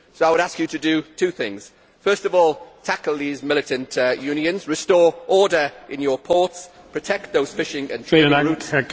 So I would ask you to do two things first of all, tackle these militant unions, restore order in your ports and protect those fishing and trading routes.